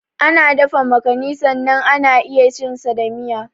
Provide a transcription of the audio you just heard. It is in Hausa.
Ana dafa makani sannan ana iya cin sa da miya.